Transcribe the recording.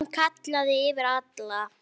Hann kallaði yfir alla.